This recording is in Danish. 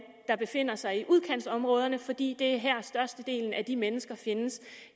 der befinder sig i udkantsområderne fordi det er her størstedelen af de mennesker findes